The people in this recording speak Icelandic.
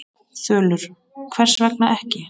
Þulur: Hvers vegna ekki?